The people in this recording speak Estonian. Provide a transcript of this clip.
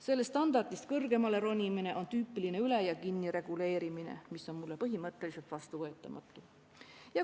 Sellest standardist kõrgemale ronimine on tüüpiline üle- ja kinnireguleerimine, mis on mulle põhimõtteliselt vastuvõetamatu.